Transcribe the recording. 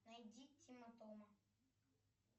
найди тима тома